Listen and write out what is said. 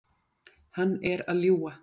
Hann er að ljúga.